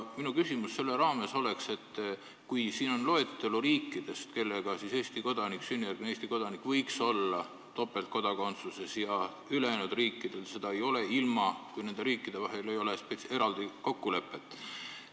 Minu küsimus sellega seoses on, et siin on loetelu riikidest, kelle puhul on lubatud sünnijärgse Eesti kodaniku topeltkodakondsus, ja ülejäänud riikide puhul see pole lubatud, kui nende riikide vahel ei ole eraldi kokkulepet.